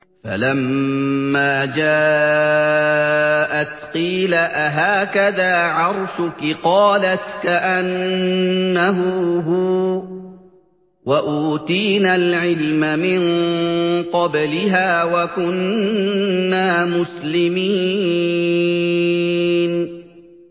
فَلَمَّا جَاءَتْ قِيلَ أَهَٰكَذَا عَرْشُكِ ۖ قَالَتْ كَأَنَّهُ هُوَ ۚ وَأُوتِينَا الْعِلْمَ مِن قَبْلِهَا وَكُنَّا مُسْلِمِينَ